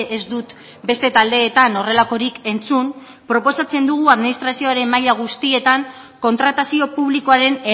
ez dut beste taldeetan horrelakorik entzun proposatzen dugu administrazioaren maila guztietan kontratazio publikoaren